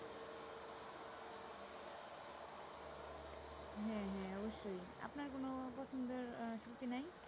হ্যাঁ হ্যাঁ অবশ্যই উপনার কোনো পছন্দের আহ শিল্পী নাই?